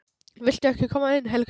VILTU EKKI KOMA INN, HELGA MÍN!